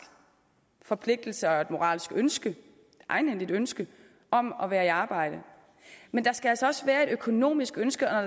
forpligtelse og et moralsk ønske et egenhændigt ønske om at være i arbejde men der skal altså også være et økonomisk ønske og